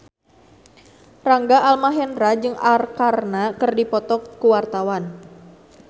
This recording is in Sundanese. Rangga Almahendra jeung Arkarna keur dipoto ku wartawan